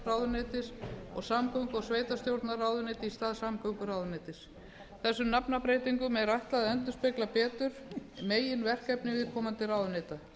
kirkjumálaráðuneytis og samgöngu og sveitarstjórnarráðuneyti í stað samgönguráðuneytis þessum nafnbreytingum er ætlað að endurspegla betur meginverkefni viðkomandi ráðuneyta